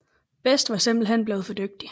Best var simpelthen blevet for dygtig